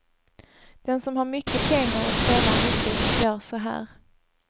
Den som har mycket pengar och spelar mycket, gör så här.